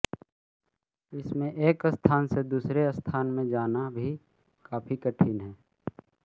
इसमें एक स्थान से दूसरे स्थान में जाना भी काफी कठिन है